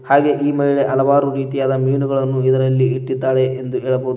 ಹಾಗೆ ಈ ಮಹಿಳೆ ಹಲವಾರು ರೀತಿಯಾದ ಮೀನುಗಳನ್ನು ಇದರಲ್ಲಿ ಇಟ್ಟಿದಾಳೆ ಎಂದು ಹೇಳಬಹುದು.